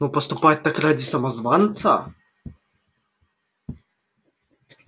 но поступать так ради самозванца